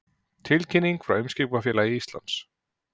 Tilkynning frá Eimskipafélagi Íslands